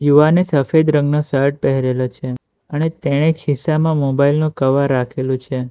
યુવાને સફેદ રંગનો શર્ટ પહેરેલો છે અને તેણે ખિસ્સામાં મોબાઈલનો કવર રાખેલો છે.